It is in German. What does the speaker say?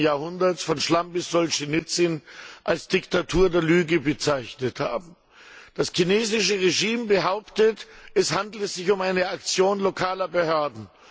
20. Jahrhunderts, von Schlamm bis Solschenizyn als Diktatur der Lüge bezeichnet haben. Das chinesische Regime behauptet, es handele sich um eine Aktion lokaler Behörden.